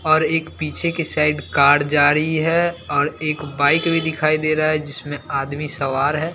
और एक पीछे की साइड कार जा रही है और एक बाइक भी दिखाई दे रहा है जिसमें आदमी सवार है।